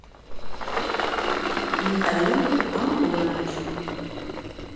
михаил антонович